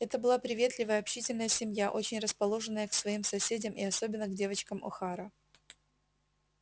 это была приветливая общительная семья очень расположенная к своим соседям и особенно к девочкам охара